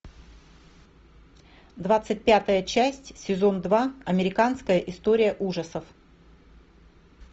двадцать пятая часть сезон два американская история ужасов